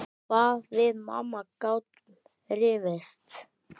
Hvað við mamma gátum rifist.